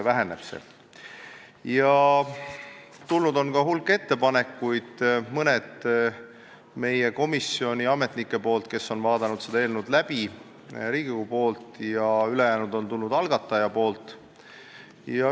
On tulnud ka hulk ettepanekuid, mõned meie komisjoni ametnikelt, kes on selle eelnõu läbi vaadanud, ja Riigikogust ning ülejäänud algatajalt.